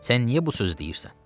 Sən niyə bu sözü deyirsən?